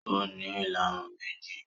Ó ní ìlarun méjì